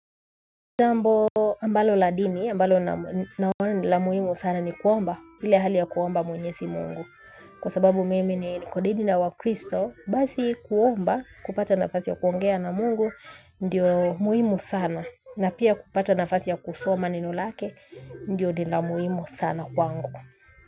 Jambo ambalo la dini ambalo ni la muhimu sana ni kuomba hile hali ya kuomba mwenyezi Mungu. Kwa sababu mimi kwa dini la wakristo basi kuomba kupata nafasi ya kuongea na Mungu ndiyo muhimu sana. Na pia kupata nafasi ya kusoma neno lake, ndilo ni la muhimu sana kwangu.